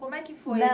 Como é que foi isso?